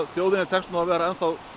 þjóðinni tekst nú að vera